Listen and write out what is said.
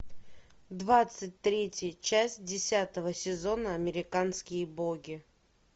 двадцать третья часть десятого сезона американские боги